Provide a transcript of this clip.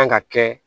Kan ka kɛ